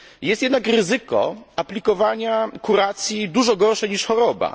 Jest jednak ryzyko aplikowania kuracji dużo gorszej, niż choroba.